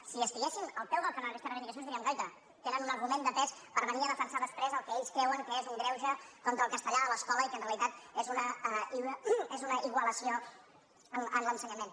si estiguessin al peu del canó d’aquestes reivindicacions diríem guaita tenen un argument de pes per venir a defensar després el que ells creuen que és un greuge contra el castellà a l’escola i que en realitat és una igualació en l’ensenyament